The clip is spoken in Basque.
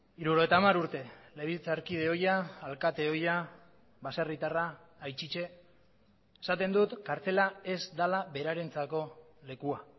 hirurogeita hamar urte legebiltzarkide ohia alkate ohia baserritarra aittitte esaten dut kartzela ez dela berarentzako lekua